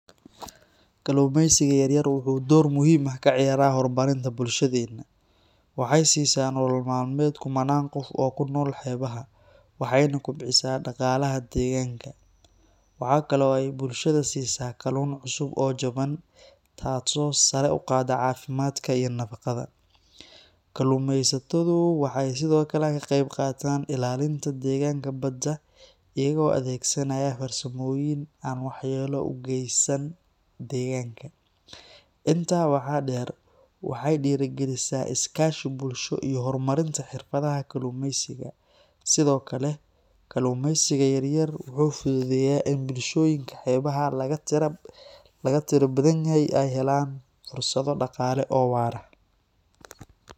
Kalluumaysiga yaryar wuxuu door muhiim ah ka ciyaaraa horumarinta bulshadeena. Waxay siisaa nolol-maalmeed kumannaan qof oo ku nool xeebaha, waxayna kobcisaa dhaqaalaha deegaanka. Waxaa kale oo ay bulshada siisaa kalluun cusub oo jaban, taasoo sare u qaadda caafimaadka iyo nafaqada. Kalluumaysatadu waxay sidoo kale ka qayb qaataan ilaalinta deegaanka badda iyagoo adeegsanaya farsamooyin aan waxyeello u geysan deegaanka. Intaa waxaa dheer, waxay dhiirrigelisaa is-kaashi bulsho iyo horumarinta xirfadaha kalluumaysiga. Sidoo kale, kalluumaysiga yaryar wuxuu fududeeyaa in bulshooyinka xeebaha laga tirada badan yahay ay helaan fursado dhaqaale oo waara.